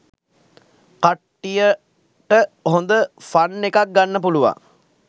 කට්ටියට හොඳ ෆන් එකක් ගන්න පුළුවන්